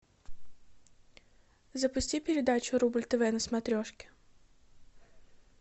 запусти передачу рубль тв на смотрешке